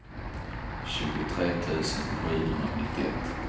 tjugotre tusen sjuhundranittioett